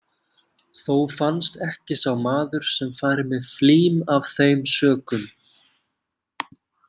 Þó fannst ekki sá maður sem færi með flím af þeim sökum.